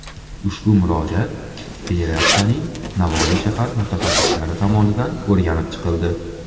Ushbu murojaat Federatsiyaning Navoiy shahar mutaxassislari tomonidan o‘rganib chiqildi.